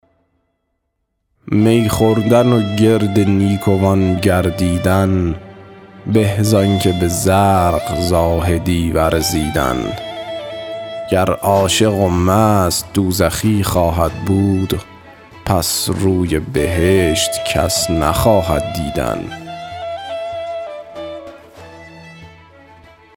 می خوردن و گرد نیکوان گردیدن به زآن که به زرق زاهدی ورزیدن گر عاشق و مست دوزخی خواهد بود پس روی بهشت کس نخواهد دیدن